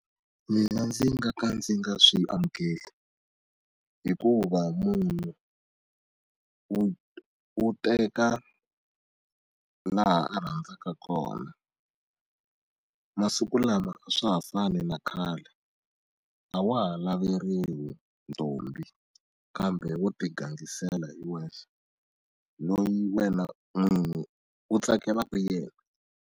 Mina ndzi nga ka ndzi nga swi amukeli hikuva munhu wu wu teka laha a rhandzaka kona masiku lama a swa ha fani na khale a wa ha laveriwi ntombi kambe wo ti gangisela hi wexe no wena n'wini u tsakelaka yena.